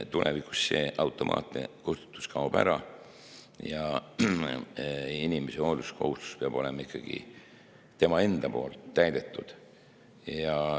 Tulevikus see automaatne kustutus kaob ära ja inimese hoolsuskohustus peab olema ikkagi tema enda poolt täidetud.